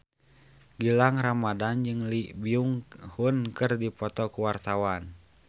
Gilang Ramadan jeung Lee Byung Hun keur dipoto ku wartawan